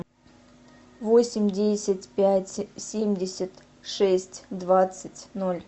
восемь десять пять семьдесят шесть двадцать ноль